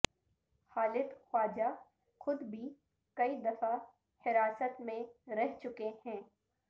خالد خواجہ خود بھی کئی دفعہ حراست میں رہ چکے ہیں